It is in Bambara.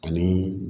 Ani